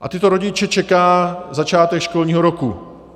A tyto rodiče čeká začátek školního roku.